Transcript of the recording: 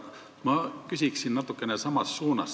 Aga ma küsin natukene samas suunas.